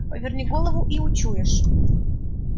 поверни голову и учуешь